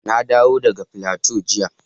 Na dawo daga Plateau jiya